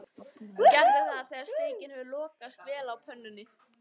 Gerðu það þegar steikin hefur lokast vel á pönnunni.